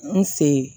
N sen